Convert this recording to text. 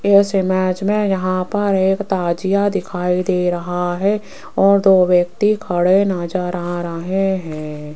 इस इमेज में यहाँ पर एक ताजिया दिखाई दे रहा हैं और दो व्यक्ती खड़े नजर आ रहे हैं।